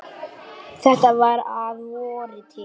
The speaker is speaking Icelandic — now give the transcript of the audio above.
Þetta var að vori til.